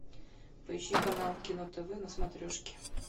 поищи канал кино тв на смотрешке